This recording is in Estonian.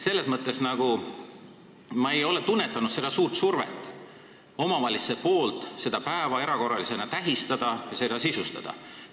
Selles mõttes ma ei ole tunnetanud omavalitsejatelt mingit suurt survet seda päeva erakorralisena tähistada ja sisustada.